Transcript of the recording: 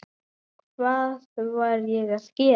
Hvað var ég að gera?